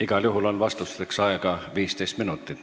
Igal juhul on vastusteks aega 15 minutit.